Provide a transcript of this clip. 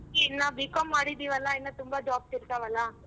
ಅದಿಕ್ಕೆ ಇನ್ನಾ B.Com ಮಾಡಿದ್ದಿವಲ್ಲ ಇನ್ನ ತುಂಬಾ jobs ಇರ್ತಾವಲ್ಲ.